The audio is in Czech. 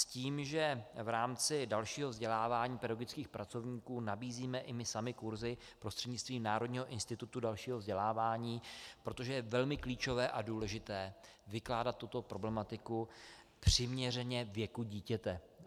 S tím, že v rámci dalšího vzdělávání pedagogických pracovníků nabízíme i my sami kurzy prostřednictvím Národního institutu dalšího vzdělávání, protože je velmi klíčové a důležité vykládat tuto problematiku přiměřeně věku dítěte.